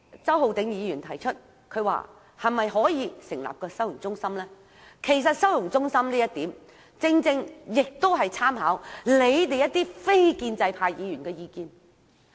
周浩鼎議員提出可否成立收容中心，其實這建議是參考了你們非建制派議員的意見的。